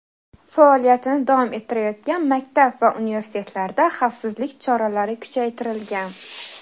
faoliyatini davom ettirayotgan maktab va universitetlarda xavfsizlik choralari kuchaytirilgan.